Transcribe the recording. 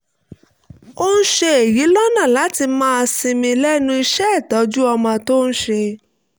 ó ń ṣe èyí lọ́nà láti lè máa sinmi lẹ́nu iṣẹ́ ìtọ́jú ọmọ tó ń ṣe